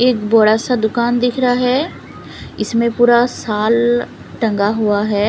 एक बड़ा सा दुकान दिख रहा है इसमें पूरा साल टंगा हुआ है।